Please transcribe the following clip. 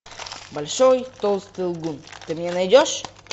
большой толстый лгун ты мне найдешь